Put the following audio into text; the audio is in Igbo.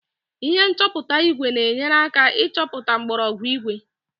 ihe nchọpụta ígwè na-enyere aka ịchọpụta mgwooru ígwè